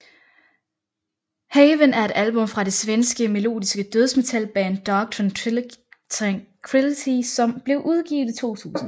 Haven er et album fra det svenske melodiske dødsmetalband Dark Tranquillity som blev udgivet i 2000